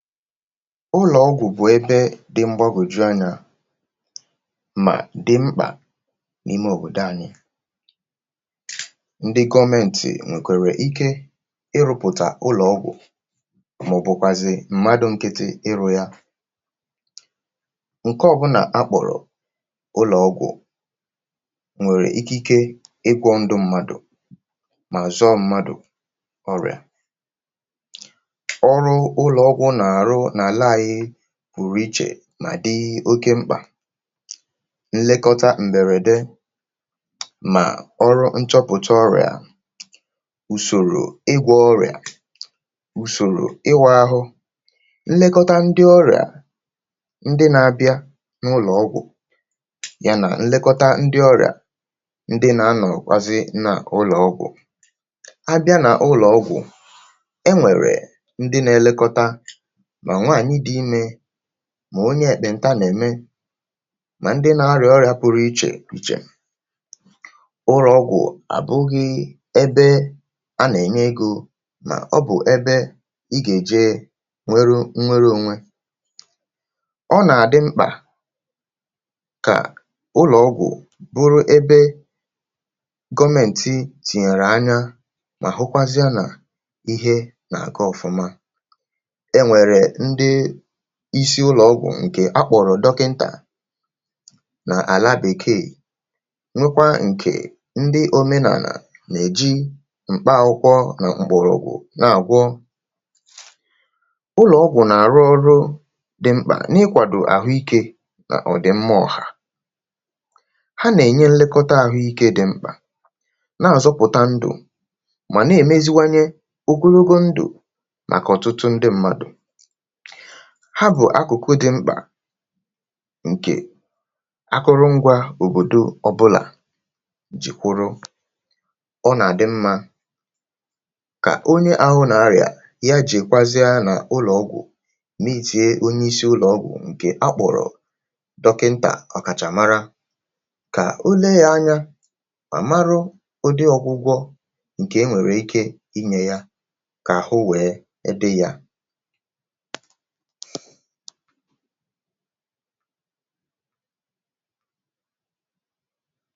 ʊ́lɔ̀ ɔ́gʷʊ̀ bʊ̀ ɛ́bɛ́ dɪ̄ ḿgbágòdʒú áɲá mà dɪ̄ ḿɓà ní:mé òbòdo áɲɪ́ ńdɪ́ gɔ́mɛ́ntɪ̀ nʷèkʷàrà íké ɪ́ rʊ́pʊ̀tà ʊ́lɔ́:gʷʊ̀ mɔ̀: bʊ̀kʷàzɪ̀ m̀mádú ńkítí ɪ́rʊ̄ já ǹkɛ́ ɔ́bʊ́nà á ɓɔ̀rɔ̀ ʊ́lɔ̀ ɔ́gʷʊ̀ nʷèrè íkíké ɪ́ kʷɔ̄ ńdʊ̄ ḿmádù mà zɔ́ɔ́ ḿmádù ɔ́rjà ɔ́rʊ́ ʊ́lɔ̀ ɔ́gʷʊ̀ nà:rʊ́ nà:lá áɲɪ́ pʊ̀rʊ̀ íʧè mà dɪ́ oké ḿɓà ńlékɔ́tá m̀bɛ̀rɛ̀dɛ́ mà ɔ́rʊ́ ńʧɔ́pʊ̀tá ɔ́rjà ùsòrò ɪ́gʷɔ̄ ɔ́rjà ùsòrò ɪ́wʊ̄ áɦʊ́ ńlékɔ́tá ńdɪ́ ɔ́rɪ́à ńdɪ́ nā ábjá nʊ́:lɔ̀ ɔ́gʷʊ̀ já nà ńlɛ́kɔ́tá ńdɪ́ ɔ́rjà ńdɪ́ nā ánɔ̀ kʷázɪ́ nà ʊ́lɔ́:gʷʊ̀ á bjá nà ʊ́lɔ́:gʷʊ̀ ɛ́ nʷɛ̀rɛ̀ ńdɪ́ nā ɛ́lɛ́kɔ́tá mà nʷàɲɪ́ dɪ̄ ímē mà oɲé ɛ̀ɓɛ̀ǹtá nɛ̀:mɛ́ mà ńdɪ́ nā árjà ɔ́rjā pʊ́rʊ́ íʧè íʧè ʊ́rɔ́:gʷʊ̀ àbʊ́ɣɪ̄ ɛ́bɛ́ á nà ɛ̀ɲɛ́ égō nɔ́: bʊ̀ ɛ́bɛ́ ɪ́ gà èdʒé nʷɛ́rʊ́ nʷɛ́rɛ́ ónʷé ɔ́ nà àdɪ́ ḿɓà kà ʊ́rɔ̀ ɔ́gʷʊ́ bʊ́rʊ́ ébé gɔ́mɛ̀ntɪ́ tìɲèrè áɲá nà ɦʊ́kʷázɪ́á nà íɦé nà àgá ɔ̀fʊ́má ɛ́ nʷɛ̀rɛ̀ ńdɪ́ ɪ́sɪ́ ʊ́lɔ̀ ɔ́gʷʊ̀ ǹkɛ̀ á ɓɔ̀rò dɔ́kɪ́ntà nà:lá Bèkèè nʷékʷá ǹkè ńdɪ́ óménànà nà èdʒí m̀ɓá ákʷʊ́kʷɔ́ nà m̀ɓɔ̀rɔ̀gʷʊ̀ nà àgʷɔ́ ʊ́nɔ̀ ɔ́gʷʊ́ nà àrʊ́ ɔ́rʊ́ dɪ̄ ḿɓà nɪ́:kʷàdò àɦʊ́ íkē nɔ̀: dɪ̀ ḿmá ɔ̀ɦà ɦá nà èɲé ńlékɔ́tá àɦʊ́ íkē dɪ̄ ḿɓà nà àzɔ́pʊ̀tá ńdʊ̀ mà nà èmézíwáɲé ógónógó ńdʊ̀ màkà ɔ̀tʊ́tʊ́ ńdɪ́ ḿmádù ɦá bʊ̀ ákʊ̀kʊ́ dɪ̄ ḿɓà ǹkè ákʊ́rʊ́ ngʷā òbòdó ɔ́bʊ́là dʒɪ̀ kʷʊ́rʊ́ ɔ́ nà àdɪ́ ḿmā kà oɲé áɦʊ́ nà árjà já dʒèkʷázɪ́á nà ʊ́lɔ̀ ɔ́gʷʊ̀ mɪ́ɪ́tíé oɲé ɪ́sɪ́ ʊ́lɔ́ ɔ́gʷʊ̀ ǹkè á ɓɔ̀rɔ̀ dɔ́kɪ́ǹtà ɔ̀kàʧà márá kà ó léé já áɲá à márʊ́ ʊ́dɪ́ ɔ́gʷʊ́gʷɔ́ ǹkè é nʷèrè íké ɪ́ ɪ́ ɲé já kà àɦʊ́ wéé ɛ́ dɪ́ jā ụlọ̀ ọgwụ̀ bụ̀ ẹbẹ dị̄ mgbagòju anya mà dị̄ mkpà n’ime òbòdo anyị ndị gọmẹntị̀ nwèkwàrà ike ị rụpụ̀tà ụlọ̀ ọgwụ̀ mà ọ̀ bụ̀kwàzị̀ m̀madu nkiti ịrụ̄ ya ǹkẹ ọbụnà a kpọ̀rọ̀ ụlọ̀ ọgwụ̀ nwèrè ikike ị kwọ̄ ndụ̄ mmadù mà zọọ mmadù ọrịà ọrụ ụlọ̀ ọgwụ̀ nà àrụ nà àla anyị pụ̀rụ̀ ichè mà dị oke mkpà nlekọta m̀bẹ̀rẹ̀dẹ mà ọrụ nchọpụ̀ta ọrịà ùsòrò ịgwọ̄ ọrịà ùsòrò ịwụ̄ ahụ nlekọta ndị ọrịà ndị nā abịa n’ụlọ̀ ọgwụ̀ ya nà nlẹkọta ndị ọrịà ndị nā anọ̀kwazị nà ụlọ̀ ọgwụ̀ a bịa nà ụlọ̀ ọgwụ̀ ẹ nwẹ̀rẹ̀ ndị nā ẹlẹkọta mà nwànyị dị̄ imē mà onye ẹ̀kpẹ̀ǹta nà ẹ̀mẹ mà ndị nā arịà ọrịā pụrụ ichè ichè ụrọ̀ ọgwụ̀ àbụghị̄ ẹbẹ a nà ẹ̀nyẹ egō nà ọ bụ̀ ẹbẹ ị gà èje nwẹrụ nwẹrẹ onwe ọ nà àdị mkpà kà ụrọ̀ ọgwụ bụrụ ebe gọmẹ̀ntị tìnyèrè anya nà hụkwazịa nà ihe nà àga ọ̀fụma ẹ nwẹ̀rẹ̀ ndị ịsị ụlọ̀ ọgwụ̀ ǹkẹ̀ a kpọ̀rò dọkịntà nà àla Bèkèè nwekwa ǹkè ndị omenànà nà èji m̀kpa akwụkwọ nà m̀kpọ̀rọ̀gwụ̀ nà àgwọ ụnọ̀ ọgwụ nà àrụ ọrụ dị̄ mkpà n’ịkwàdò àhụ ikē nà ọ̀dị̀mma ọ̀hà ha nà ènye nlekọta àhụ ikē dị̄ mkpà nà àzọpụ̀ta ndụ̀ mà nà èmeziwanye ogonogo ndụ̀ màkà ọ̀tụtụ ndị mmadù ha bụ̀ akụ̀kụ dị̄ mkpà ǹkè akụrụ ngwā òbòdo ọbụlà jị̀ kwụrụ ọ nà àdị mmā kà onye ahụ nà arịà ya jèkwazịa nà ụlọ̀ ọgwụ̀ mịịtie onye ịsị ụlọ ọgwụ̀ ǹkè a kpọ̀rọ̀ dọkịǹtà ọ̀kàchà mara kà o lee ya anya à marụ ụdị ọgwụgwọ ǹkè e nwèrè ike ị ị nye ya kà àhụ wee ẹ dị yā